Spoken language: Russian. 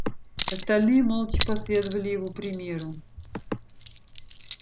остальные молча последовали его примеру